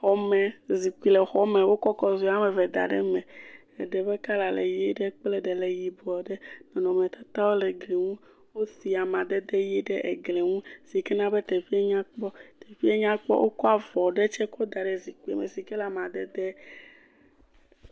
Xɔme zikpui le xɔ me. Wokɔ kɔzoe woame eve da ɖe eme. Eɖe ƒe kɔla le ʋi ɖe, eɖe tse le yibɔ ɖe. nɔnɔmetatawo le gli nu. Wosi amadede kɔla ʋi ɖe eglie nu sike na be teƒea nyɔkpɔ, nyakpɔ. Wokɔ avɔ white ɖe kɔ da ɖe zikpui me. Zikpui le amadede